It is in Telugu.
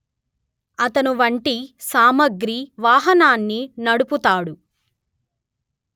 అతను వంటి సామగ్రి వాహనాన్ని నడుపుతాడు